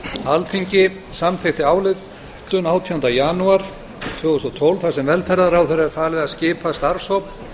alþingi samþykkti ályktun átjánda janúar tvö þúsund og tólf þar sem velferðarráðherra er falið að skipa starfshóp